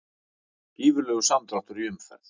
Gífurlegur samdráttur í umferð